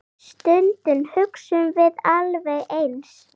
Stundum hugsum við alveg eins.